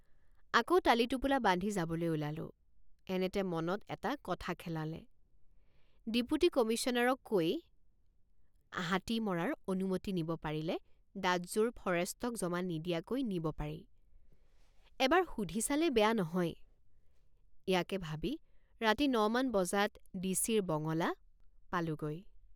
আকৌ টালিটোপোলা বান্ধি যাবলৈ ওলালোঁ। আকৌ টালিটোপোলা বান্ধি যাবলৈ ওলালোঁ। এনেতে মনত এটা কথা খেলালে ডিপুটী কমিশ্যনাৰক কৈ হাতী মৰাৰ অনুমতি নিব পাৰিলে দাঁতযোৰ ফৰেষ্টক জমা নিদিয়াকৈ নিব পাৰি এবাৰ সুধি চালে বেয়া নহয় ইয়াকে ভাবি ৰাতি ন মান বজাত ডিচিৰ বঙলা পালোঁগৈ।